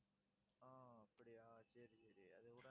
ஆஹ் அப்படியா சரி சரி அது கூட